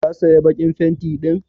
Ka saya bakin fenti din?